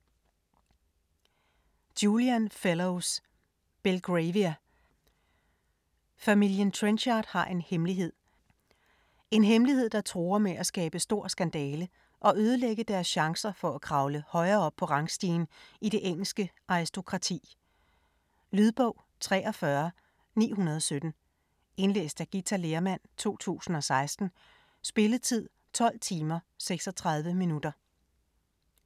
Fellowes, Julian: Belgravia Familien Trenchard har en hemmelighed - en hemmelighed der truer med at skabe stor skandale og ødelægge deres chancer for at kravle højere op på rangstien i det engelske aristokrati. Lydbog 43917 Indlæst af Githa Lehrmann, 2016. Spilletid: 12 timer, 36 minutter.